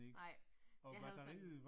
Nej. Jeg havde sådan